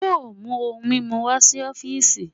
yóò mu ohun mimu wá si ọfiisi?